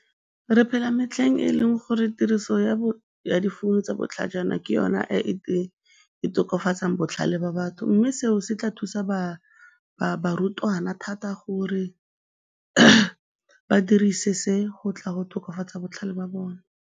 Re phela metlheng e leng gore tiriso ya difounu tsa botlhajana ke yona e e tokafatsang botlhale ba batho mme seo se tla thusa barutwana thata gore ba dirise se go tla go tokafatsa botlhale ba bona.